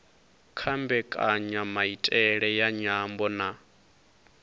kha mbekanyamaitele ya nyambo na